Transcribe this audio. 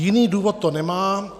Jiný důvod to nemá.